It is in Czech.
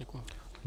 Děkuji.